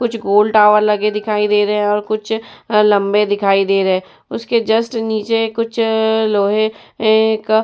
कुछ गोल टावर लगे दिखाई दे रहे हैं और कुछ लंबे दिखाई दे रहे है। उसके जस्ट नीचे कुछ लोहे अ का --